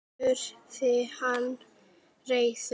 spurði hann reiður.